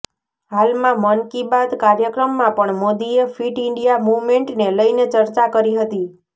હાલમાં મન કી બાત કાર્યક્રમમાં પણ મોદીએ ફિટ ઇન્ડિયા મુવમેન્ટને લઇને ચર્ચા કરી હતી